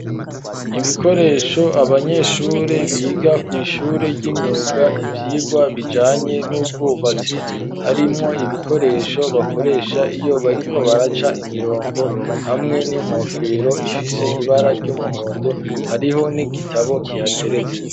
Ibikoresho abanyeshure biga kw'ishure ry'imyuga ivyirwa bijanye n'ubwubatsi harimwo ibikoresho bakoresha iyo bariko baraca imirongo hamwe n'inkofero ifise ibara ry'umuhondo hariho n'igitabo kihatereze.